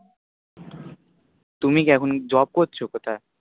তুমি কি এখন Job করছো কোথায়?